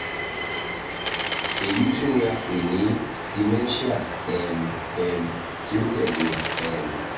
eyi tun ni a pe ni dementia um um ti o tẹle um